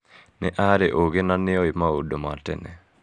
Nĩ arĩ ũũgĩ na nĩ oĩ maũndũ ma tene.